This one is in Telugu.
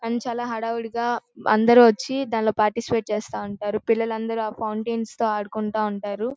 కానీ చాలా హడావిడిగా ఆంధ్రోచి దానిలో పార్టిసిపెంట్ చేస్తా ఉంటారు. పిల్లలందరూ ఆ ఫౌంటైన్స్ తో ఆడుకుంటే ఉంటారు.